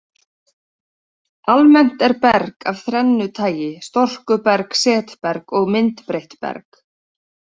Almennt er berg af þrennu tagi, storkuberg, setberg og myndbreytt berg.